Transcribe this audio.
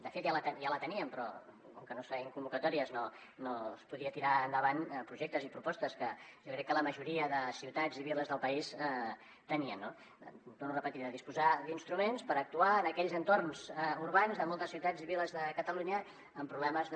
de fet ja la teníem però com que no es feien convocatòries no es podien tirar endavant projectes ni propostes que jo crec que la majoria de ciutats i viles del país tenien no ho torno a repetir de disposar d’instruments per actuar en aquells entorns urbans de moltes ciutats i viles de catalunya amb problemes de